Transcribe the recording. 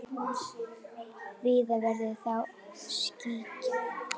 Víða verður þó skýjað.